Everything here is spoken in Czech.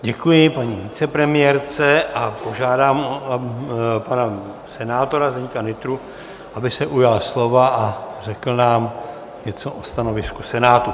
Děkuji paní vicepremiérce a požádám pana senátora Zdeňka Nytru, aby se ujal slova a řekl nám něco o stanovisku Senátu.